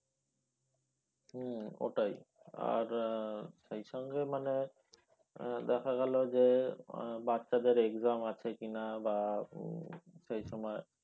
হ্যাঁ ওটাই আর আহ সেই সঙ্গে মানে দেখা গেল যে আহ বাচ্চাদের exam আছে কি না বা সেই সময়